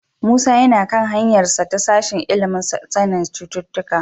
Musa yana kan hanyarsa ta sashen ilimin sanin cututtuka.